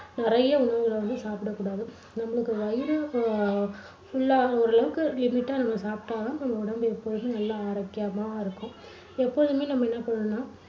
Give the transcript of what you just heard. நிறைய உணவுகளை வந்து சாப்பிடக் கூடாது. நம்மளுக்கு வயிறு அஹ் full ஆகுற அளவுக்கு ஓரளவுக்கு limit டா நம்ப சாப்பிட்டா தான் நமக்கு உடம்பு எப்போதும் நல்லா ஆரோக்கியமா இருக்கும். எப்போதுமே நம்ம என்ன பண்ணணும்னா